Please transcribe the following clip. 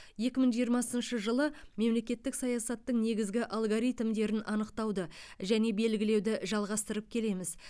екі мың жиырмасыншы жылы мемлекеттік саясаттың негізгі алгоритмдерін анықтауды және белгілеуді жалғастырып келеміз